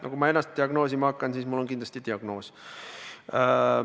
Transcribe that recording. No kui ma ennast diagnoosima hakkan, siis mul on kindlasti diagnoos.